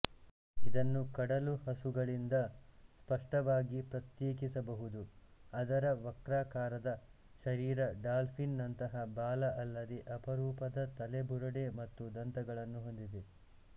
ಇದನ್ನು ಕಡಲು ಹಸುಗಳಿಂದ ಸ್ಪಷ್ಟವಾಗಿ ಪ್ರತ್ಯೇಕಿಸಬಹುದುಅದರ ವಕ್ರಾಕಾರದ ಶರೀರಡಾಲ್ಫಿನ್ ನಂತಹ ಬಾಲ ಅಲ್ಲದೇ ಅಪರೂಪದ ತಲೆಬುರಡೆ ಮತ್ತು ದಂತಗಳನ್ನು ಹೊಂದಿದೆ